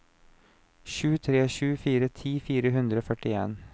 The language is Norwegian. sju tre sju fire ti fire hundre og førtien